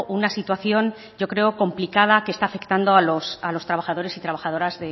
una situación yo creo que complicada que está afectando a los trabajadores y trabajadoras